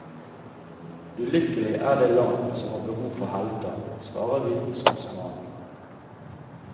Ulykkelig er det land som har behov for helter, svarer vitenskapsmannen.